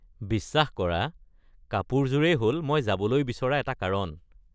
বিশ্বাস কৰা, কাপোৰযোৰেই হ’ল মই যাবলৈ বিচৰা এটা কাৰণ।